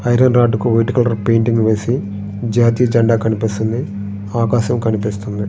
Iron రాడ్ల కు white colour painting వేసి జాతీయ జెండా కనిపిస్తుంది ఆకాశం కనిపిస్తుంది.